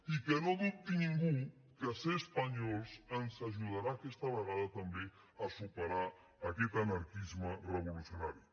i que no dubti ningú que ser espanyols ens ajudarà aquesta vegada també a superar aquest anarquisme revolucionari